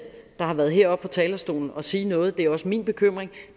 der har været heroppe på talerstolen og sige noget har og det er også min bekymring